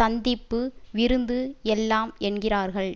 சந்திப்பு விருந்து எல்லாம் என்கிறார்கள்